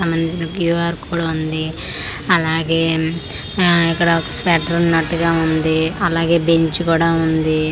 సంబంధించిన Q R code ఉంది అలాగే హా ఇక్కడ ఒక స్వెటరున్నట్టుగా ఉంది అలాగే బెంచ్ కూడా ఉంది.